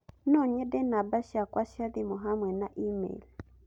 No nyende namba ciakwa cia thimũ hamwe na e-mail